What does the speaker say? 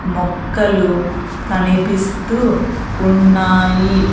మొక్కలు కనిపిస్తూ ఉన్నాయి.